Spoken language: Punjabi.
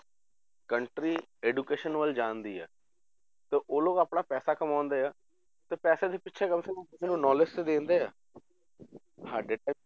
Country education ਵੱਲ ਜਾਂਦੀ ਹੈ, ਤੇ ਉਹ ਲੋਕ ਆਪਣਾ ਪੈਸਾ ਕਮਾਉਂਦੇ ਆ, ਤੇ ਪੈਸੇ ਦੇ ਪਿੱਛੇ ਕਿਸੇੇ ਨੂੰ knowledge ਤਾਂ ਦਿੰਦੇ ਆ ਸਾਡੇ time